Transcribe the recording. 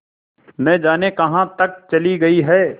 न जाने कहाँ तक चली गई हैं